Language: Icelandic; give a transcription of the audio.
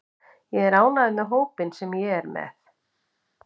Ég er ánægður með hópinn sem ég er með.